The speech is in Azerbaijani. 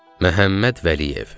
Məhəmməd Vəliyev.